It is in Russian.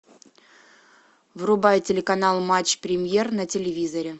врубай телеканал матч премьер на телевизоре